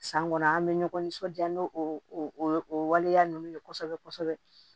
San kɔnɔ an bɛ ɲɔgɔn nisɔndiya n'o o o waleya ninnu ye kosɛbɛ kosɛbɛ